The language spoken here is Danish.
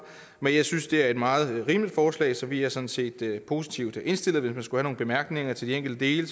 men jeg synes at det er et meget rimeligt forslag så vi er sådan set positivt indstillet hvis vi skulle have nogle bemærkninger til de enkelte dele